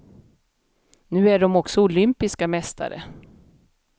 Nu är de också olympiska mästare.